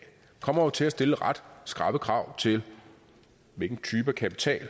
kommer jo til at stille ret skrappe krav til hvilken type af kapital det